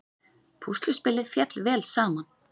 Púsluspilið féll vel saman